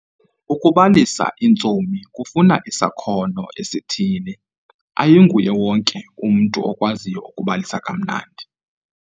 Ukubalisa iintsomi kufuna isakhono esithile. ayinguye wonke umntu okwaziyo ukubalisa kamnandi